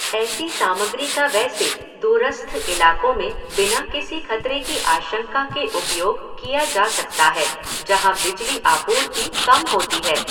ऐसी सामग्री का वैसे दूरस्थ इलाकों में बिना किसी खतरे की आशंका के उपयोग किया जा सकता है जहां बिजली आपूर्ति कम होती है।